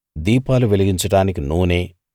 దీపాలు వెలిగించడానికి నూనె